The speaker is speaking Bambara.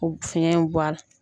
U fiyɛn bɔ a la.